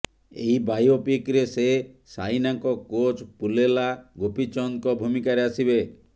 ଏହି ବାୟୋପିକରେ ସେ ସାଇନାଙ୍କ କୋଚ୍ ପୁଲେଲା ଗୋପୀଚନ୍ଦଙ୍କ ଭୂମିକାରେ ଆସିବେ